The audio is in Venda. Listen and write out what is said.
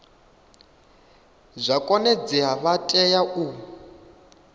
zwa konadzea vha tea u